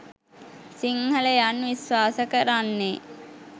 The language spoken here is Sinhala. සිංහලයන් විශ්වාස කරන්නේ